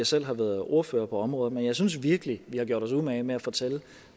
selv har været ordfører på området men jeg synes virkelig vi har gjort os umage med at fortælle